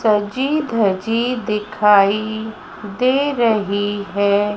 सजी दजी दिखाई दे रही है।